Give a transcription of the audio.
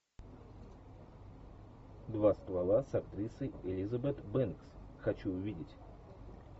два ствола с актрисой элизабет бэнкс хочу увидеть